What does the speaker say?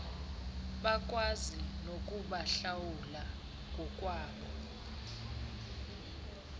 bakwazi nokubahlawula ngokwabo